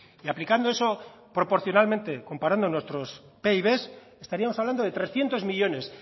y aplicando eso proporcionalmente comparando nuestros pib estaríamos hablando de trescientos millónes